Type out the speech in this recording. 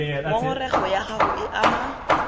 ngongorego ya gago e ama